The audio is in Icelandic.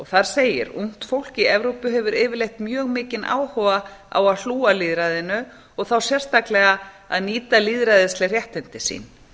þar segir ungt fólk í evrópu hefur yfirleitt mjög mikinn áhuga á að hlúa að lýðræðinu og þá sérstaklega að nýta lýðræðisleg réttindi sín